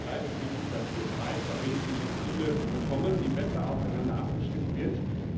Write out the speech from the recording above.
Da ist es wichtig, dass wir drei verbindliche Ziele bekommen, die besser aufeinander abgestimmt werden.